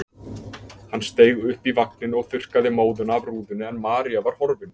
Hann steig upp í vagninn og þurrkaði móðuna af rúðunni en María var horfin.